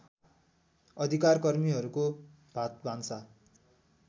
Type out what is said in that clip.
अधिकारकर्मीहरूको भातभान्सा